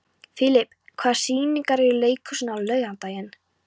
Filip, hvaða sýningar eru í leikhúsinu á laugardaginn?